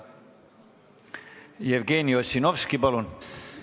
Jevgeni Ossinovski, palun!